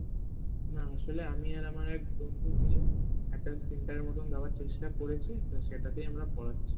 হ্যাঁ আসলে আমি আর আমার এক বন্ধু মিলে একটা center এর মতনদেয়ার চেষ্টা করেছি তো সেটাতেই আমরা পড়াচ্ছি